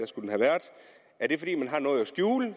skulle have været er det fordi man har noget at skjule i